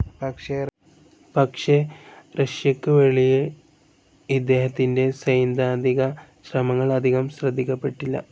പക്ഷേ റഷ്യയ്ക്കുവെളിയിൽ ഇദ്ദേഹത്തിന്റെ സൈദ്ധാന്തികശ്രമങ്ങൾ അധികം ശ്രദ്ധിക്കപ്പെട്ടില്ല.